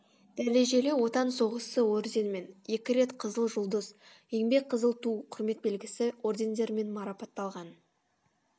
дәрежелі отан соғысы орденімен екі рет қызыл жұлдыз еңбек қызыл ту құрмет белгісі ордендерімен марапатталған